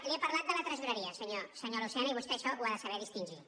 li he parlat de la tresoreria senyor lucena i vostè això ho ha de saber distingir